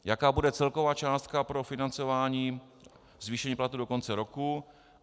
Jaká bude celková částka pro financování zvýšení platů do konce roku?